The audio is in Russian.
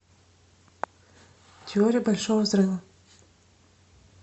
теория большого взрыва